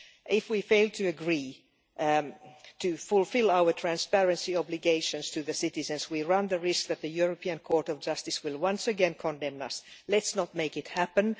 If we fail to agree to fulfil our transparency obligations to the citizens, we run the risk that the European Court of Justice will once again condemn us. Let's not make it happen.